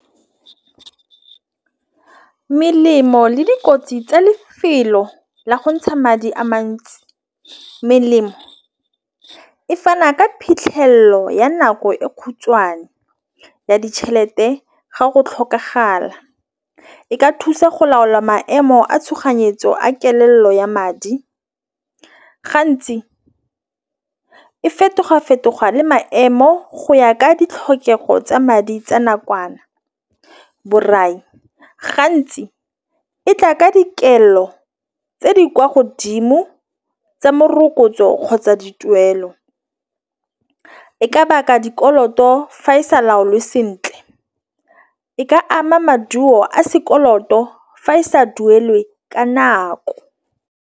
Melemo le dikotsi tsa lefelo la go ntšha madi a mantsi. Melemo e fana ka phitlhello ya nako e khutshwane ya ditšhelete ga go tlhokagala. E ka thusa go laola maemo a tšhoganyetso a kelelo ya madi. Gantsi e fetoga fetoga le maemo go ya ka ditlhokego tsa madi a nakwana. Borai gantsi e tla ka dikelo tse di kwa godimo tsa morokotso kgotsa dituelo e ka baka dikoloto fa e sa laolwe sentle. E ka ama maduo a sekoloto fa e sa duelwe ka nako.